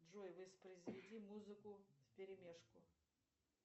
джой воспроизведи музыку вперемешку